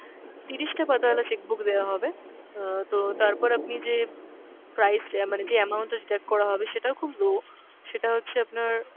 তিরিশটা পাতা ওয়ালা cheque book দেওয়া হবে আহ তো তারপর আপনি যে price অ্যাঁ মানে যে amount টা deduct করা হবে সেটাও খুব low, সেটা হচ্ছে আপনার,